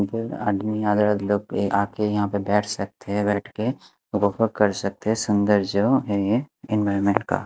इधर आदमी लोग के आके यहां पे बैठ सकते हैं बैठके वह कर सकते है सुंदर जो ये एनवायरनमेंट का--